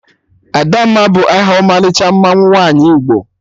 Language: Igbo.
Adamma bụ aha ọmalịcha mmanwụ nwaanyị Igbo